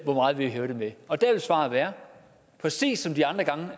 hvor meget vi vil hæve den med og der vil svaret være præcis som de andre gange